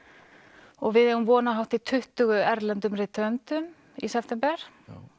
og við eigum von á hátt í tuttugu erlendum rithöfundum í september